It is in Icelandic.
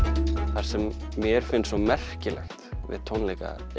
það sem mér finnst svo merkilegt við tónleika